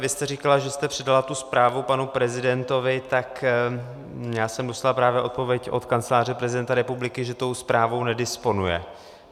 Vy jste říkala, že jste předala tu zprávu panu prezidentovi, tak já jsem dostal právě odpověď od Kanceláře prezidenta republiky, že tou zprávou nedisponuje.